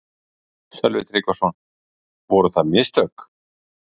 Sölvi Tryggvason: Voru það mistök?